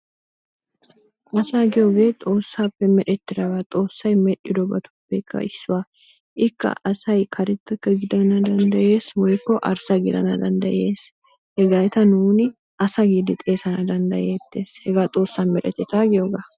Asaa giyoogee xoossaappe merettidaba. Xoossay medhdhidobatuppekka issuwaa. Ikka asay karettaka gidana danddayees woyikko arssa gidana danddayees. Hegeeta nuuni asa giidi xeesana danddayeettes hegaa xoossa meretata giyoogaa.